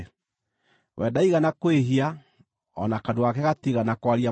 “We ndaigana kwĩhia, o na kanua gake gatiigana kwaria maheeni.”